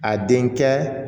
A den kɛ